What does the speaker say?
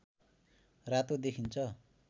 रातो देखिन्छ